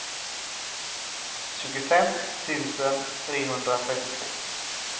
tjugofem tusen trehundratrettiotvå